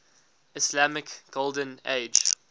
islamic golden age